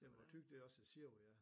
Jamen hvor Thy det også hedder sæbe ja